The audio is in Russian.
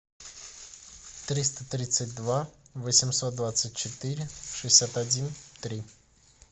триста тридцать два восемьсот двадцать четыре шестьдесят один три